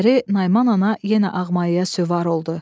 Səhəri Nayman ana yenə Ağmayaya süvar oldu.